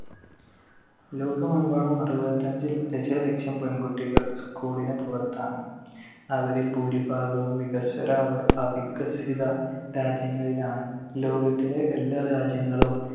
ലോകമെമ്പാടും അറുപത്തിയഞ്ചിൽ ദശലക്ഷം പെൺകുട്ടികൾ school ന് പുറത്താണ്. അവരിൽ ഭൂരിഭാഗവും വികസ്വര, അവ~ അവികസിത രാജ്യങ്ങളിലാണ്. ലോകത്തിലെ എല്ലാ രാജ്യങ്ങളും